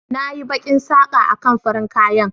Na yi bakin saka a kan farin kayan.